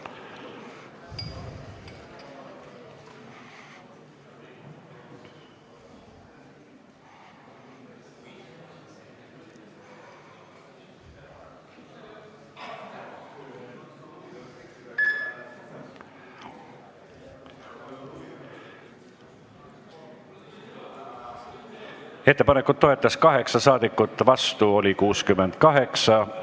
Hääletustulemused Ettepanekut toetas 8 ja vastu oli 68 saadikut.